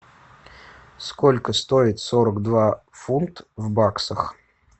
сколько стоит сорок два фунт в баксах